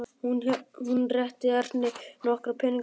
Hún rétti Erni nokkra peningaseðla.